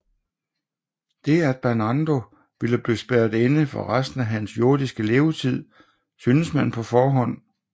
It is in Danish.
Det at Bernardo ville blive spærret inde for resten af hans jordiske levetid syntes man på forhånd